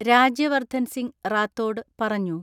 രാജ്യവർദ്ധൻസിംഗ് റാത്തോഡ് പറഞ്ഞു.